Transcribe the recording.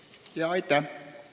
Aitäh!